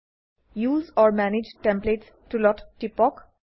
উচে অৰ মানাগে টেমপ্লেটছ টুলত টিপক